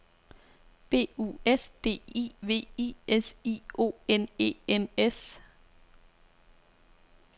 B U S D I V I S I O N E N S